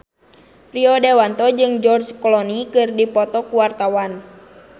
Rio Dewanto jeung George Clooney keur dipoto ku wartawan